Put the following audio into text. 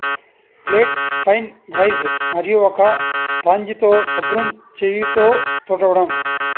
plate పైన రైజ్ మరియు ఒక స్పాంజితో శుభ్రం చేయు తో తుడవడం